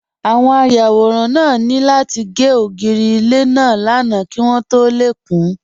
Àwọn ayàwòrán náà ní láti gé ògiri ilé náà lánàá kí wọ́n tó lè kún